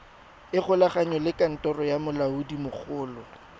ikgolaganye le kantoro ya molaodimogolo